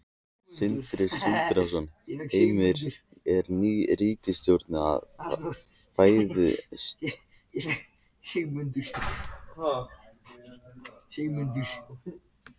Sindri Sindrason: Heimir, er ný ríkisstjórn að fæðast?